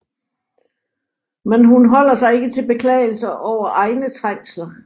Men hun holder sig ikke til beklagelser over egne trængsler